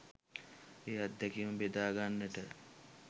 ඒ අත්දැකීම බෙදාගන්නට